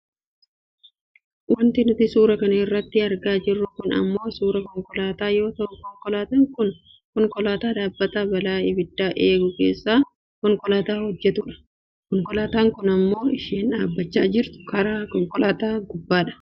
Wanti nuti suuraa kana irratti argaa jirru kun ammoo suuraa konkolaataa yoo taatu konkolaataan kun konkolaataa dhaabbata balaa abiddaa eegu keessa konkolaataa hojjattudha. Konkolaataan kun kan isheen dhaabbachaa jirtu karaa konkolaataa gubbaadha.